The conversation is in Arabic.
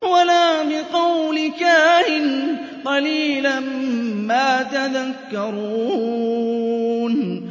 وَلَا بِقَوْلِ كَاهِنٍ ۚ قَلِيلًا مَّا تَذَكَّرُونَ